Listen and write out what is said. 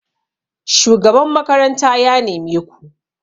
shugaban makaranta ya neme ku!